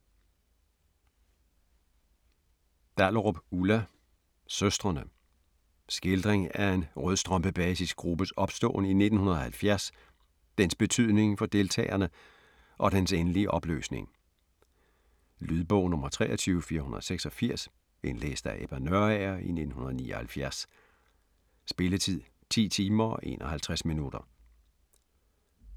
Dahlerup, Ulla: Søstrene Skildring af en rødstrømpebasisgruppes opståen i 1970, dens betydning for deltagerne, og dens endelige opløsning. Lydbog 23486 Indlæst af Ebba Nørager, 1979. Spilletid: 10 timer, 51 minutter.